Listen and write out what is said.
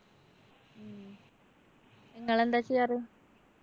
നിങ്ങളെന്താ ചെയ്യാറ്?